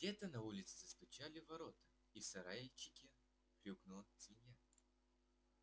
где-то на улице застучали в ворота и в сарайчике хрюкнула свинья